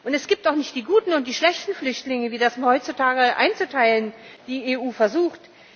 Es gibt auch nicht die guten und die schlechten Flüchtlinge, wie das heutzutage die EU einzuteilen versucht.